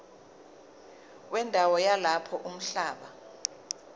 wendawo yalapho umhlaba